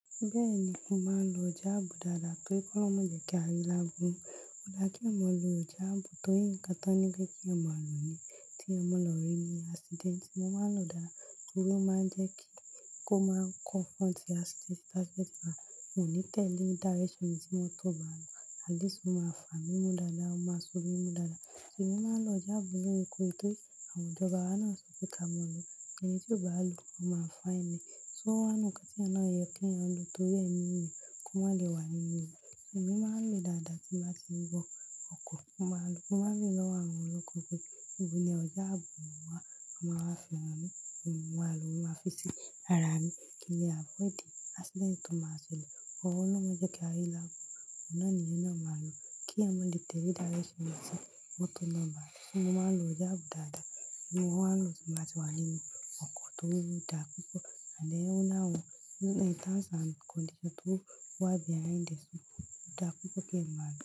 Bẹ́ẹ̀ ni, mo máa ń lo ijáàbù dáadáa tori k'ọlọrun má jẹ́ kí ari láburu. Ó dá kí èèyàn mọ lo ijáàbù torí ǹkan tán ní ki èèyàn má lòó ní tí èèyàn mọ lọ rí ni accident. Mo máa ń lòó dáa torí ó máa ń jẹ́ kí kó máa confront accident ti accident ba mo ní tẹ̀lé direction ibi tí mọ́tò bá lọ, at least ó máa fà mí mú dáadáa, ó máa so mí mú dáadáa. Emi máa ń lọ ijáàbù loorekoore torí àwọn ìjọba wa náà sọ pé ká mọ̀ ọ́ lòó, èní tí ó bá lòó, ó máa fine ẹ́. Só o wà n nu ǹkan tí èèyàn náà yẹ kí èèyàn lòó torí ẹniyẹn kó má lè wà nínú rẹ̀. Emi máa ń lo dáadáa tí n bàá ti n bọ ọkọ̀, mo máa lòó. Mo máa ń rí lọ́wọ́ àwọn ọlọ́kọ̀ pé ní ọjáàbù wá, a máa wá fi hàn mí kí n wá lòó, mo máa fi sí ara mi kí n lè avoid accident tó máa ṣẹlẹ̀ ọlorun máa jẹ́ kí ari lábó. Ọ̀nà naa ni èèyàn náà màá lòó kí èèyàn má lè tẹ̀lé direction ibi tí mọ́tò náà bá lọ. Ṣé mo máa ń lo ọjáàbù dáadáa, ṣùgbọ́n mo máa ń lòó tí màá ti wà nínú ọkọ̀ tó dá púpọ̀ and then ó ńi awọ̀n, terms and conditions tó wà behind the scene odá púpọ̀ kí èèyàn máa lòó.